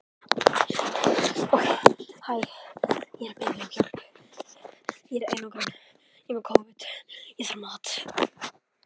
Bergið var lokað eins og ævinlega og enginn bergrisi sjáanlegur.